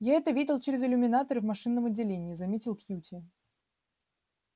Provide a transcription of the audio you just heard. я это видел через иллюминаторы в машинном отделении заметил кьюти